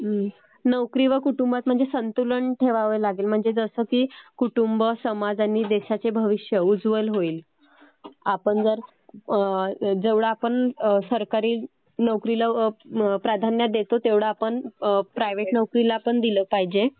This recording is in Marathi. नोकरी व कुटुंबात म्हणजे संतुलन ठेवावे लागेल म्हणजे जसं की कुटुंब समाज व देशाचे भविष्य उज्वल होईल. आपण जर जेवढा आपण सरकारी नोकरीला प्राधान्य देतो तेव्हढं आपण प्रायव्हेट नोकरी ला पण दिलं पाहिजे.